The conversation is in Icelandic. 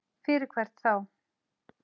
Fyrir hvern þá?